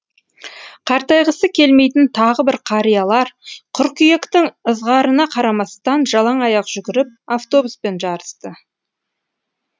қартайғысы келмейтін тағы бір қариялар қыркүйектің ызғарына қарамастан жалаң аяқ жүгіріп автобуспен жарысты